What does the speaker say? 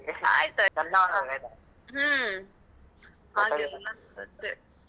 ಆಯ್ತಾಯ್ತಾ. ಹ್ಮ್. ಹಾಗೆಲ್ಲಾ ಕಥೆ.